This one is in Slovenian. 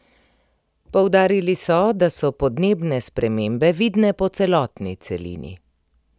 Poudarili so, da so podnebne spremembe vidne po celotni celini.